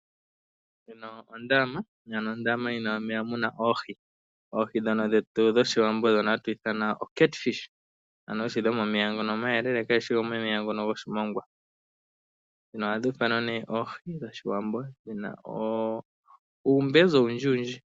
Ondama ano ondama mono muna oohi dhono dhetu dhoshiwambo ano dhono hatu ithana oCatfish. Ano oohi dhono dhomo meya ngono omayelele kayishi yomomeya ngono goshimongwa. Ano ohadhi ithanwa nee oohi dhoshiwambo dhina uumbezi owundji wundji.